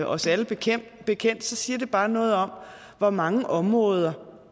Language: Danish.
os alle bekendt bekendt så siger det bare noget om hvor mange områder